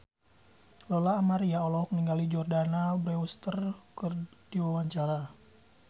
Lola Amaria olohok ningali Jordana Brewster keur diwawancara